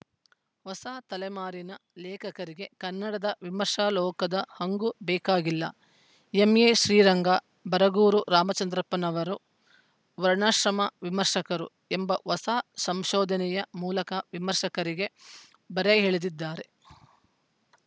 ಹೊಸ ತಲೆಮಾರಿನ ಲೇಖಕರಿಗೆ ಕನ್ನಡದ ವಿಮರ್ಶಾಲೋಕದ ಹಂಗೂ ಬೇಕಾಗಿಲ್ಲ ಎಂಎ ಶ್ರೀರಂಗ ಬರಗೂರು ರಾಮಚಂದ್ರಪ್ಪನವರು ವರ್ಣಾಶ್ರಮ ವಿಮರ್ಶಕರು ಎಂಬ ಹೊಸ ಸಂಶೋಧನೆಯ ಮೂಲಕ ವಿಮರ್ಶಕರಿಗೆ ಬರೆ ಎಳೆದಿದ್ದಾರೆ